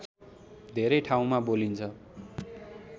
धेरै ठाउँमा बोलिन्छ